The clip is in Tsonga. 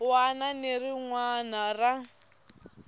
wana ni rin wana ra